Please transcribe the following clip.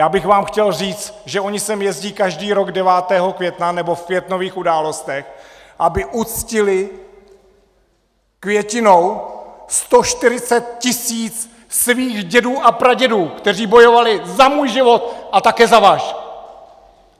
Já bych vám chtěl říct, že oni sem jezdí každý rok 9. května, nebo v květnových událostech, aby uctili květinou 140 tisíc svých dědů a pradědů, kteří bojovali za můj život a také za váš!